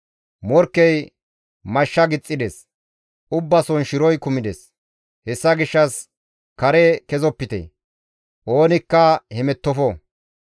Morkkey mashsha gixxides; ubbason shiroy kumides; hessa gishshas kare kezopite; ogenkka hemettofte.